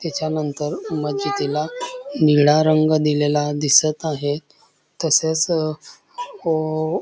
तिच्यानंतर मजीदी ला निळा रंग दिलेला दिसत आहे तसेच ओ--